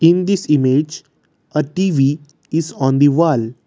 in this image a T_V this on the wall.